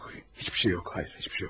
Heç bir şey yoxdur, xeyr, heç bir şey yoxdur.